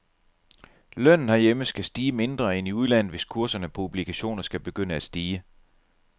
Lønnen herhjemme skal stige mindre end i udlandet, hvis kurserne på obligationer skal begynde at stige.